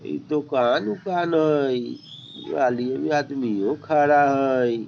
इ दोकान - ऊकान हई आदमियों खड़ा हई।